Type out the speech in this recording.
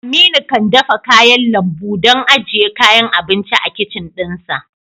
Aminu kan dafa kayan lambu don ajiye kayan abinci a kicin ɗinsa